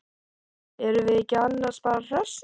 Erum við ekki annars bara hressir?